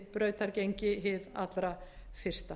brautargengi hið allra fyrsta